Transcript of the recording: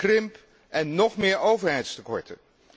krimp en nog meer overheidstekorten.